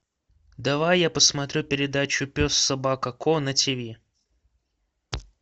давай я посмотрю передачу пес собака ко на тиви